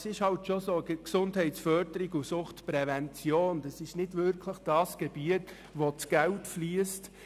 Es ist schon so, dass Gesundheitsförderung und Suchtprävention nicht Gebiete sind, wo viel Geld fliesst.